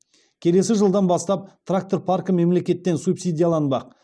келесі жылдан бастап трактор паркі мемлекеттен субсидияланбақ